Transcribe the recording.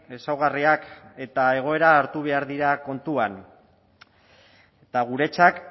ezaugarriak eta egoera hartu behar dira kontuan eta guretzat